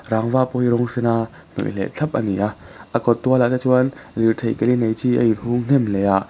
rangva pawh hi rawng sen a hnawih leh thlap ani a a kawt tual ah te chuan lirthei ke li nei chi a hung hnem hle a.